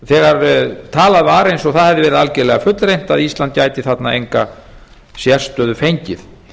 þegar talað var eins og það hefði verið algerlega fullreynt að ísland gæti þarna enga sérstöðu fengið